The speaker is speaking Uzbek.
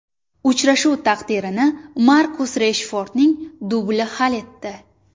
Uchrashuv taqdirini Markus Reshfordning dubli hal etdi.